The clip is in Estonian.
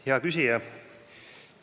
Hea küsija!